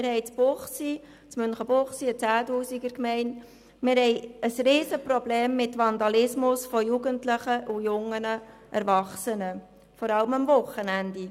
Münchenbuchsee hat rund 10 000 Einwohner, und wir haben ein Riesenproblem mit Vandalismus von Jugendlichen und jungen Erwachsenen, vor allem an den Wochenenden.